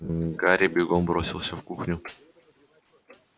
гарри бегом бросился в кухню